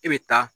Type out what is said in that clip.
E bɛ taa